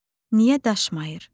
Niyə daşmayır?